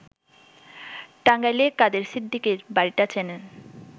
টাঙাইলে কাদের সিদ্দিকীর বাড়িটা চেনেন